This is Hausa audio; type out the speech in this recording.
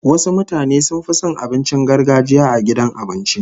Wasu mutane sun fi son abincin gargajiya a gidan abinci